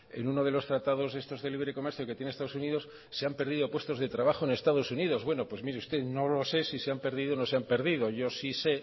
en uno de los tratados estos de libre comercio que tiene estados unidos se han perdido puestos de trabajo en estados unidos bueno pues mire usted no lo sé si se han perdido o si no se han perdido